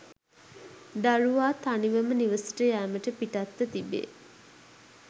දරුවා තනිවම නිවසට යැමට පිටත්ව තිබේ